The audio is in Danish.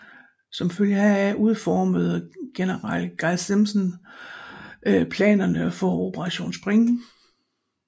Som følge heraf udformede general Guy Simonds planerne for Operation Spring